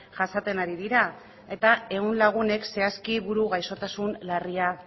jasaten ari dira eta ehun lagunek zehazki buru gaixotasun larria